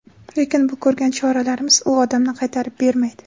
Lekin bu ko‘rgan choralarimiz u odamni qaytarib bermaydi.